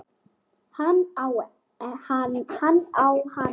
Hann á hana ekki.